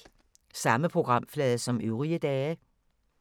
Samme programflade som øvrige dage